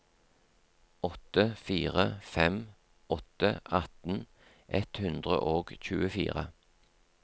åtte fire fem åtte atten ett hundre og tjuefire